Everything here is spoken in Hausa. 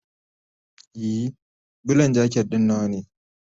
Ee, Bulan jaket ɗin nawa ne.